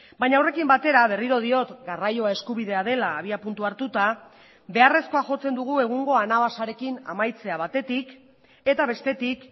baina horrekin batera berriro diot garraioa eskubidea dela abiapuntua hartuta beharrezkoa jotzen dugu egungo anabasarekin amaitzea batetik eta bestetik